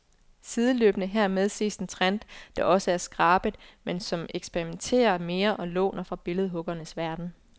Sideløbende hermed ses en trend, der også er skrabet, men som eksperimentere mere og låner fra billedhuggernes verden.